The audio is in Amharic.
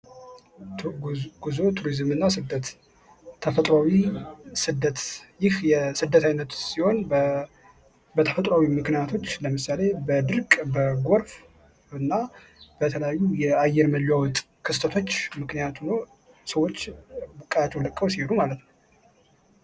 ጉዞ ቱሪዝምና ስደት ተፈጥሮአዊ ስደት ይህ የስደት ዓይነት ሲሆን በተፈጥሯዊ ምክንያቶች ለምሳሌ በድርቅ በጎርፍ እና በተለያዩ የአየር መለዋወጥ ክስተቶች ምክንያት ሆኖ ሰዎች ቀያቸውን ለቀው ሲሄዱ ማለት ነው።